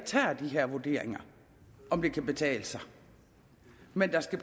tager de her vurderinger af om det kan betale sig men der skal